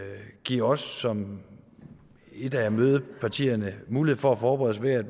give os som et af mødepartierne mulighed for at forberede